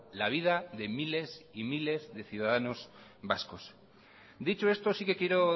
la vida de miles y miles de ciudadanos vascos dicho esto sí que quiero